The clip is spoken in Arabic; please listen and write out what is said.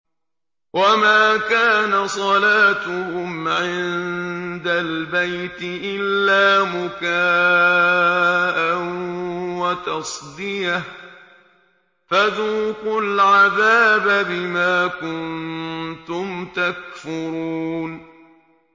وَمَا كَانَ صَلَاتُهُمْ عِندَ الْبَيْتِ إِلَّا مُكَاءً وَتَصْدِيَةً ۚ فَذُوقُوا الْعَذَابَ بِمَا كُنتُمْ تَكْفُرُونَ